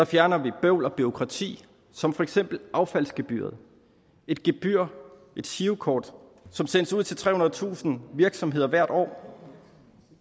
fjerner vi bøvl og bureaukrati som for eksempel affaldsgebyret et gebyr et girokort som sendes ud til trehundredetusind virksomheder hvert år